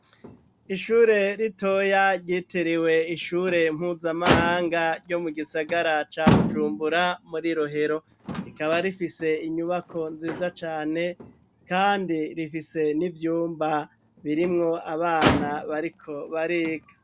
Ishure ritoya ryitiriwe ishure mpuzamahanga ryo mu gisagara ca Bujumbura muri Rohero . Rikaba rifise inyubako nziza cane kandi rifise n'ivyumba birimwo abana bariko bariga.